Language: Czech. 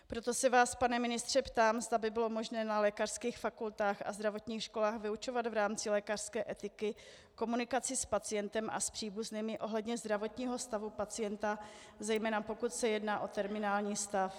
Proto se vás, pane ministře, ptám, zda by bylo možné na lékařských fakultách a zdravotních školách vyučovat v rámci lékařské etiky komunikaci s pacientem a s příbuznými ohledně zdravotního stavu pacienta, zejména pokud se jedná o terminální stav.